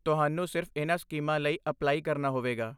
ਤੁਹਾਨੂੰ ਸਿਰਫ਼ ਇਨ੍ਹਾਂ ਸਕੀਮਾਂ ਲਈ ਅਪਲਾਈ ਕਰਨਾ ਹੋਵੇਗਾ।